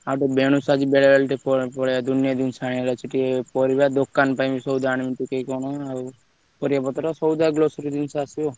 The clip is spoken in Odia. ଆଉ ଟିକେ ବେଣୁଶୁ ଆଜି ଟିକେ ବେଳାବେଳି ଟିକେ ପଳେଇଆ ଦୁନିଆ ଦୁନିଆ ଜିନିଷ ଆଣିବାର ଅଛି ଟିକେ ପାରିବ ଦୋକାନ ପାଇଁ ବି ସଉଦା ଆଣିବି କଣ ପରିବାପତ୍ର, ସଉଦା, grocery ଜିନିଷ ଆସିବ ଆଉ।